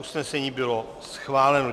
Usnesení bylo schváleno.